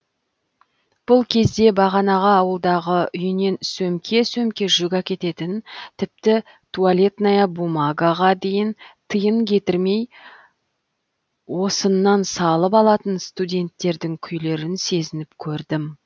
бұл кезде бағанағы ауылдағы үйінен сөмке сөмке жүк әкететін тіпті туалетная бумагаға дейін тиын кетірмей осыннан салып алатын студенттердің күйлерін сезініп көрдім